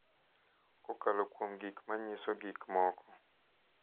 kokalo kuom gik ma nyiso gik moko.